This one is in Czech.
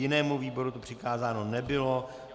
Jinému výboru to přikázáno nebylo.